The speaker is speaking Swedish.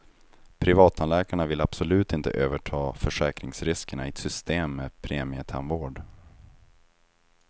Privattandläkarna vill absolut inte överta försäkringsriskerna i ett system med premietandvård.